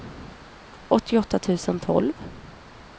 åttioåtta tusen tolv